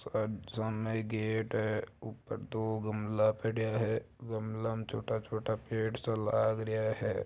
सामने एक गेट है ऊपर दो गमला पडिया है गमला म छोटा छोटा पेड़ सा लाग रया है।